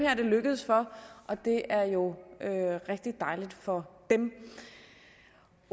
er det lykkedes for og det er jo rigtig dejligt for dem